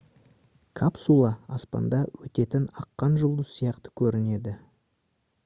капсула аспанда өтетін аққан жұлдыз сияқты көрінеді